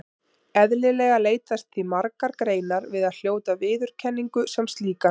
Eðlilega leitast því margar greinar við að hljóta viðurkenningu sem slíkar.